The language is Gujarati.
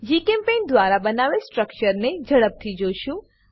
જીચેમ્પેઇન્ટ દ્વારા બનાવેલ સ્ટ્રક્ચરને ઝડપથી જોશું